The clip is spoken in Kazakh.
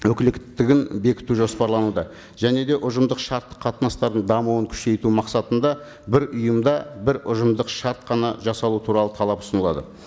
өкіліктігін бекіту жоспарлануда және де ұжымдық шарттық қатынастардың дамуын күшейту мақсатында бір ұйымда бір ұжымдық шарт қана жасалу туралы талап ұсынылады